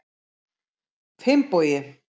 Finnbogi